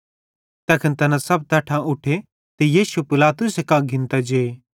तैखन तैना सब तैट्ठां उठे ते यीशुए पिलातुसे कां घिन्तां जे